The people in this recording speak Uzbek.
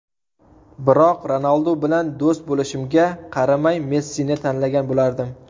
Biroq Ronaldu bilan do‘st bo‘lishimga qaramay Messini tanlagan bo‘lardim.